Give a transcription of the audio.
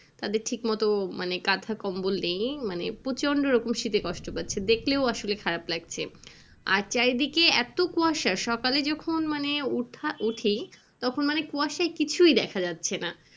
তাদের ঠিক মতো মানে কাঁথা কম্বল নেই মানে প্রচন্ড রকম শীতে কষ্ট পাচ্ছে দেখলেও আসলে খারাপ লাগছে আর চারি দিকে এত কুয়াশা সকালে যখন মানে ওঠা উঠি তখন মানে কুয়াশায় কিছুই দেখা যাচ্ছে না।